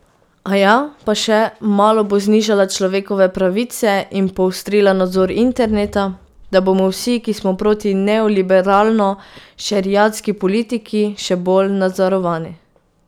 Aja, pa še malo bo znižala človekove pravice in poostrila nadzor interneta, da bomo vsi, ki smo proti neoliberalno šeriatski politiki še bolj nadzorovani.